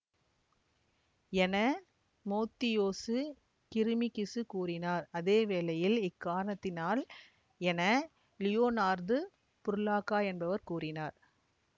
என மோத்தியோசு கிரிமிகிசு கூறினார் அதே வேளையில் இக்காரணத்தினால் என லியோனார்து புர்லாகா என்பவர் கூறினார்